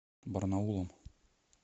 барнаулом